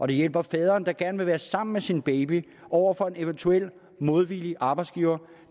det hjælper faderen der gerne vil være sammen med sin baby over for en eventuel modvillig arbejdsgiver